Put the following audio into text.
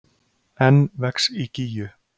Enn vex í Gígju